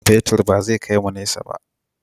Man fetur ba zai kai mu nesa ba.